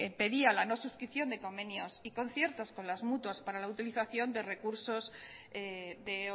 pedían la no suscripción de convenios y conciertos con las mutuas para la utilización de recursos de